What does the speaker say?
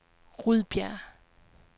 Rudbjerg